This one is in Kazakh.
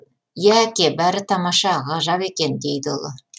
иә әке бәрі тамаша ғажап екен дейді ұлы